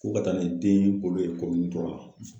Ko ka taa ni den bolo ye la.